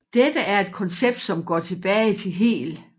Dette er et koncept som går tilbage til Hegel